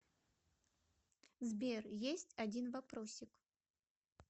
сбер есть один вопросик